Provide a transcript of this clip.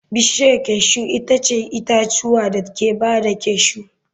Bishiyar cashew itace itatuwan da ke ba da cashew.